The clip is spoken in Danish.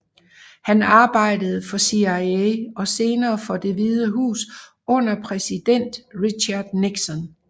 Han arbejdede for CIA og senere for Det Hvide Hus under præsiden Richard Nixon